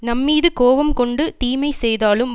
நம்மீது கோபம் கொண்டு தீமை செய்தாலும்